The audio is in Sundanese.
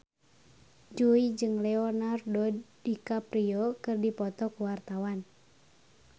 Jui jeung Leonardo DiCaprio keur dipoto ku wartawan